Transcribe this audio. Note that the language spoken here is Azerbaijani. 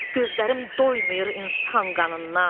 Gözlərim doymur insan qanından.